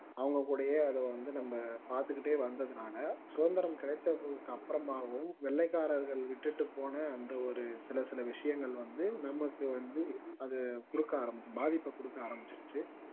அவங்க கூடயே அத வந்து நம்ம பாத்துக்கிட்டே வந்ததுனால சுதந்திரம் கிடைத்ததுக்கு அப்பொரமாகவும் வெள்ளைக்காரர்கள் விட்டுட்டு போன அந்த ஒரு சில சில விஷயங்கள் வந்து நமக்கு வந்து குடுக்க ஆரம்பிச்சிடுச்சு குடுக்க ஆரம்பிச்சுடுச்சு